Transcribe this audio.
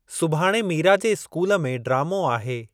सुभाणे मीरा जे स्कूल में ड्रामो आहे।